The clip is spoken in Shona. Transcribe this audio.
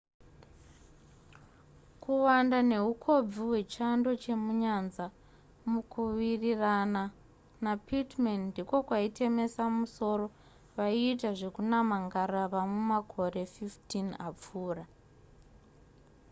kuwanda nehukobvu hwechando chemunyanza mukuwirirana napittman ndiko kwaitemesa musoro vaiita zvekunama ngarava mumakore 15 apfuura